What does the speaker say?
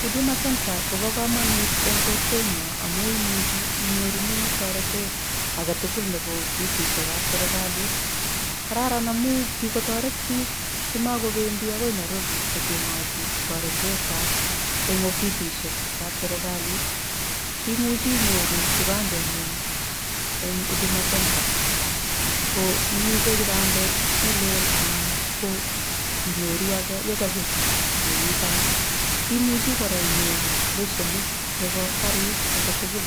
Huduma center kopo komanut eng kokwenyo amu imuchi inyorune taretet aketukul nepo ofisishekap serikalit. Kararan amu kikotoret biik simakopendi ako Nairobi kocheng'ati taretetap eng ofisishekap serikalit. Imuchi inyoru kibandeng'ung eng huduma center ko iibe kipandet nelel anan ko inyoru ake yekabet nekitai. Imuchi kora inyoru leshenit nepo karit aketukul.